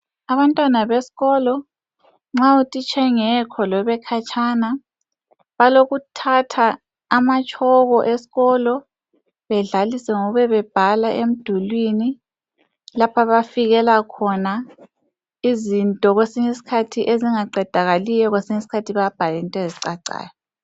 Abantwana beskolo nxa utitsha engekho loba ekhatshana balokuthatha amatshoko eskolo bedlalise ngokube bebhala emdulini laphabafikela khona izinto kwesinye isikhathi ezingaqedakaliyo kwesinye isikhathi bayabhal' int' ezicacayo.